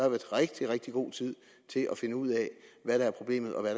rigtig rigtig god tid til at finde ud af hvad der er problemet og hvad